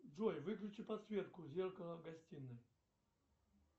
джой выключи подсветку зеркала в гостиной